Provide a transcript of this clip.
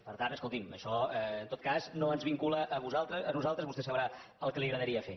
per tant escolti’m això en tot cas no ens vincula a nosaltres vostè deu saber el que li agradaria fer